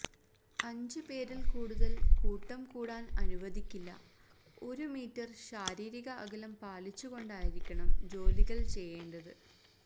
അഞ്ച് പേരിൽ കൂടുതൽ കൂട്ടം കൂടാൻ അനുവദിക്കില്ല ഒരു മീറ്റർ ശാരീരിക അകലം പാലിച്ചു കൊണ്ടായിരിക്കണം ജോലികൾ ചെയ്യേണ്ടത്